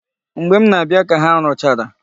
Mgbe m na-abịa ka ha rụchara.